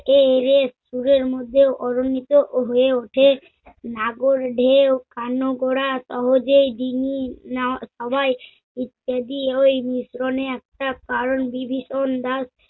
সুরের মধ্যেও অরনিত হয়ে ওঠে নাগর ঢেও আনগরা সহজেই ডিঙ্গি না- সবাই ইত্যাদি ঐ মিশ্রণে একটা কারণ বিভীষণ দ্বারা